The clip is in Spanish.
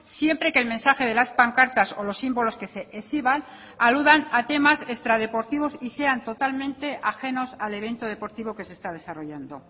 siempre que el mensaje de las pancartas o los símbolos que se exhiban aludan a temas extradeportivos y sean totalmente ajenos al evento deportivo que se está desarrollando